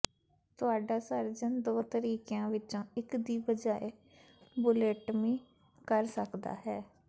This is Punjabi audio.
ਤੁਹਾਡਾ ਸਰਜਨ ਦੋ ਤਰੀਕਿਆਂ ਵਿੱਚੋਂ ਇਕ ਦੀ ਬਜਾਏ ਬੁਲੇੱਟਮੀ ਕਰ ਸਕਦਾ ਹੈ